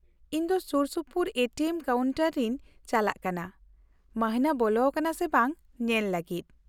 -ᱤᱧ ᱫᱚ Sursupur A T M ᱠᱟᱣᱩᱱᱴᱟᱨᱤᱧ ᱪᱟᱞᱟᱜ ᱠᱟᱱᱟ ᱢᱟᱹᱦᱱᱟᱹ ᱵᱚᱞᱚ ᱟᱠᱟᱱᱟ ᱥᱮ ᱵᱟᱝ ᱧᱮᱞ ᱞᱟᱹᱜᱤᱫ ᱾